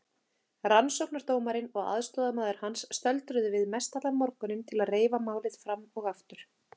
Rannsóknardómarinn og aðstoðarmaður hans stöldruðu við mestallan morguninn til að reifa málið fram og aftur.